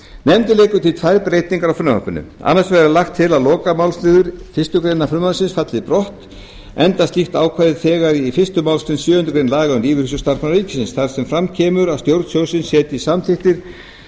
nefndin leggur til tvær breytingar á frumvarpinu er annars vegar lagt til að lokamálsliður fyrstu grein frumvarpsins falli brott enda er slíkt ákvæði þegar í fyrstu málsgrein sjöundu grein laga um lífeyrissjóð starfsmanna ríkisins þar sem fram kemur að stjórn sjóðsins setji samþykktir